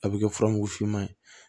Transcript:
A bɛ kɛ furamugu finman ye